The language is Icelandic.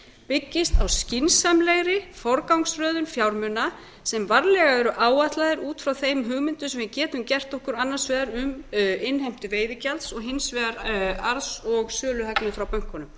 byggist á skynsamlegri forgangsröðun fjármuna sem varlega eru áætlaðar út frá þeim hugmyndum sem við getum gert okkur annars vegar um innheimtu veiðigjalds og hins vegar arðs og söluhagnaðar frá bönkunum